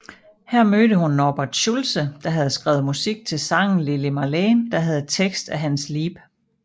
Her mødte hun Norbert Schultze der havde skrevet musik til sangen Lili Marleen der havde tekst af Hans Liep